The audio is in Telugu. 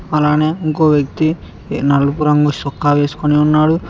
అలానే ఇంకో వ్యక్తి ఏ నలుపు రంగు షొక్కా వేస్కొని ఉన్నాడు.